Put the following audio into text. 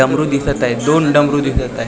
डमरू दिसत आहेत दोन डमरू दिसत आहेत.